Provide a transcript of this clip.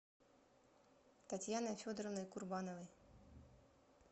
татьяной федоровной курбановой